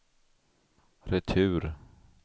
retur